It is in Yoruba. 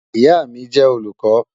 Ìyà mi jẹ́ olùkọ.